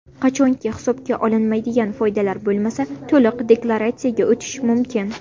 Qachonki hisobga olinmaydigan foydalar bo‘lmasa, to‘liq deklaratsiyaga o‘tish mumkin.